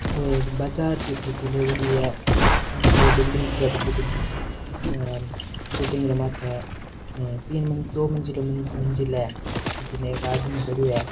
वो एक बाजार की फोटो लेवड़ी है सामने दो बिल्डिंग दिखे है बड़ी बड़ी और बिल्डिंग रमत है और तीन दो दो मंजिला मंज़िल है भटीने एक आदमी खडियो है।